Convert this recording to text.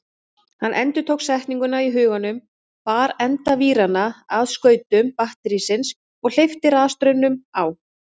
Hann endurtók setninguna í huganum, bar enda víranna að skautum batterísins og hleypti rafstraumnum á.